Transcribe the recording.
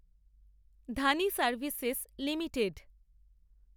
Dhani Services limited